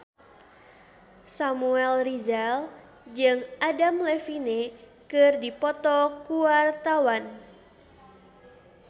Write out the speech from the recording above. Samuel Rizal jeung Adam Levine keur dipoto ku wartawan